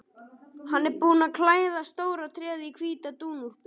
Hann er búinn að klæða stóra tréð í hvíta dúnúlpu.